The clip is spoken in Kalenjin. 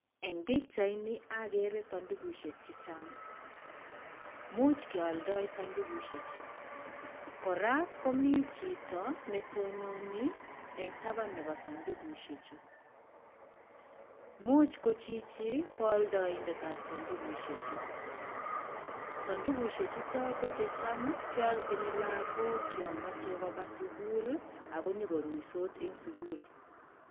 Eng' pichaini, ogere sandukushek chechang'. Imuch kealdo sandukushek chu. Koraa, komi chito netononi en taban nebo sandukushek chu. Imuch ko chichi, koaldoindetab sandukushek chu. Sandukushek chuto, ko checham kealchin lagok yomoche kobaa sugul ako nyokoruitos en sugul.